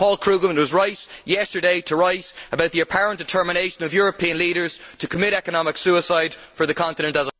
Paul Krugman was right yesterday to write about the apparent determination of European leaders to commit economic suicide for the continent as a